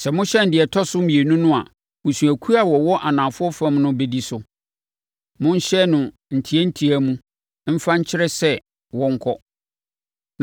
Sɛ mohyɛn deɛ ɛtɔ so mmienu no a, mmusuakuo a wɔwɔ anafoɔ fam no bɛdi so. Monhyɛn no ntiantia mu mfa nkyerɛ sɛ wɔnkɔ.